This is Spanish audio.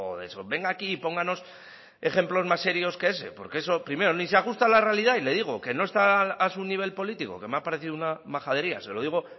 de eso venga aquí y pónganos ejemplos más serios que ese porque eso primero ni se ajusta a la realidad y le digo que no está a su nivel político que me ha parecido una majadería se lo digo